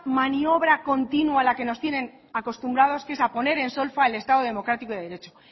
maniobra continua a la que nos tienen acostumbrados que es a poner en solfa al estado de democrático y de derecho